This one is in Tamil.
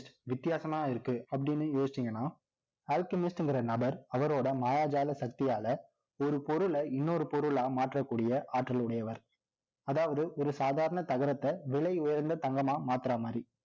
வித்தியாசமா இருக்கு அப்படின்னு யோசிச்சீங்கன்னா Alchemist ங்கிற நபர் அவரோட மாயாஜால சக்தியால ஒரு பொருளை இன்னொரு பொருளா மாற்றக் கூடிய ஆற்றல் உடையவர் அதாவது, ஒரு சாதாரண தகரத்தை, விலை உயர்ந்த தங்கமா மாத்துற மாரி